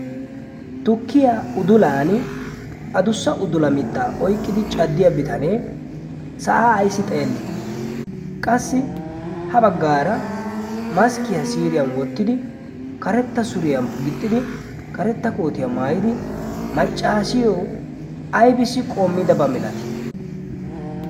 tukiyaa udulan a dussa udula mitaa oyqqidi caddiya bitanee sa'aa ayssi xeellii qassi ha baggaara maskkiyaa siriyan wottidi karetta suriyan gixxidi karetta kootiyaa maayidi maccaasiyo ibisi qoommidabaa milatii?